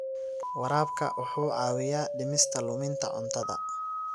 Waraabka wuxuu caawiyaa dhimista luminta cuntada.